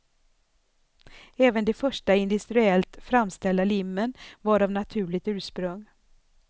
Även de första industriellt framställda limmen var av naturligt ursprung.